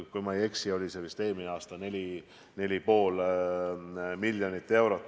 Kui ma ei eksi, siis eelmisel aastal 4,5 miljonit.